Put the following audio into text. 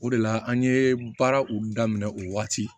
O de la an ye baaraw daminɛ o waati